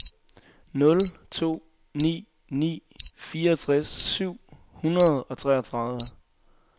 nul to ni ni fireogtres syv hundrede og treogtredive